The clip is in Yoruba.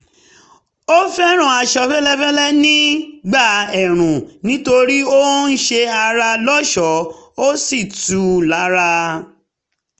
ó fẹ́ràn aṣọ fẹ́lẹ́ nígbà ẹ̀ẹ̀rùn nítorí ó ń ṣe ara lọ́ṣọ̀ọ́ ó sì tù ú lára